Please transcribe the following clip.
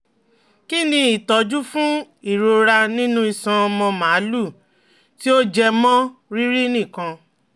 Kí ni ìtọ́jú fún irora nínú iṣan ọmọ màlúù tí ó jẹ mọ́ rírìn nìkan?